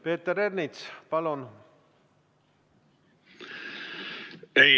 Peeter Ernits, palun!